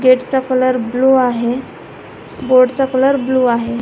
Gate चा colour blue आहे board चा कलर ब्ल्यु आहे.